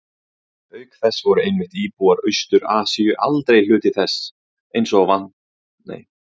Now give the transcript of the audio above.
Auk þess voru einmitt íbúar Austur-Asíu aldrei hluti þess eins og fyrr var nefnt.